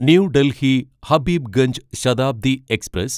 new Delhi Habibganj Shatabdi express